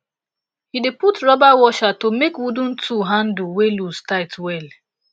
he dey put rubber washer to make wooden tool handle wey loose tight well